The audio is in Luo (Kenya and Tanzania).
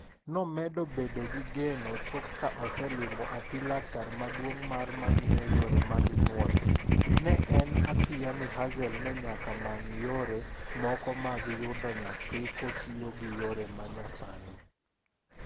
Nomedo bedo gi geno tok ka oselimo api laktar maduong' mar mang'iyo yore mag nyuol , ne en athiaya ni Hazel ne nyaka many yore moko mag yudo nyathi kotiyo gi yore ma nyasani.